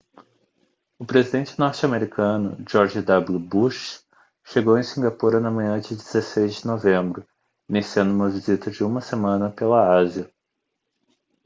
o presidente norte-americano george w bush chegou em singapura na manhã de 16 de novembro iniciando uma visita de uma semana pela ásia